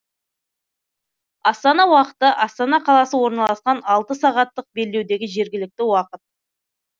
астана уақыты астана қ орналасқан алты сағаттық белдеудегі жергілікті уақыт